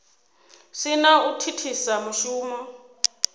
si na u thithisa mushumo